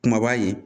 Kumaba ye